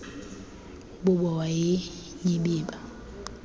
bubo wa nyibiba